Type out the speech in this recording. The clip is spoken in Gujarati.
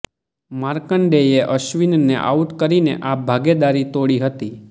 માર્કંડેયે અશ્વિનને આઉટ કરીને આ ભાગીદારી તોડી હતી